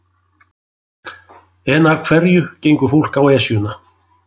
En af hverju gengur fólk á Esjuna?